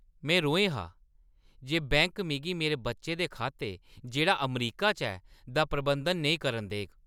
में रोहें हा जे बैंक मिगी मेरे बच्चे दे खाते, जेह्ड़ा अमरीका च ऐ, दा प्रबंधन नेईं करन देग।